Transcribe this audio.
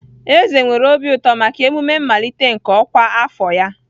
Eze nwere obi ụtọ maka emume mmalite nke ọkwa afọ ya.